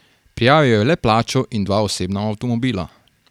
Prijavil je le plačo in dva osebna avtomobila.